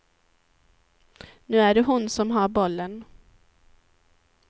Nu är det hon som har bollen.